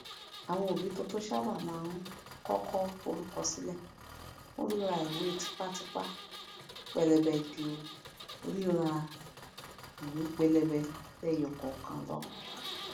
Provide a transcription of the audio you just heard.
àwọn òbí tuntun sábà máa ń kọkọ forúkọ sílẹ fún rírà ìwé tipatipa pẹlẹbẹ ju rírà iwe pẹlẹbẹ lẹyọkọọkan lọ